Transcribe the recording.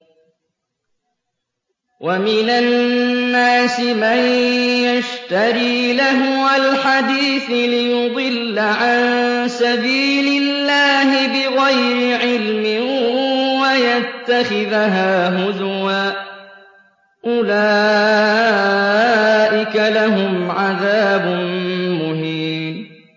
وَمِنَ النَّاسِ مَن يَشْتَرِي لَهْوَ الْحَدِيثِ لِيُضِلَّ عَن سَبِيلِ اللَّهِ بِغَيْرِ عِلْمٍ وَيَتَّخِذَهَا هُزُوًا ۚ أُولَٰئِكَ لَهُمْ عَذَابٌ مُّهِينٌ